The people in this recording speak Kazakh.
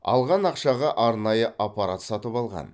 алған ақшаға арнайы аппарат сатып алған